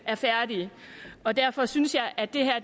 er færdige og derfor synes jeg at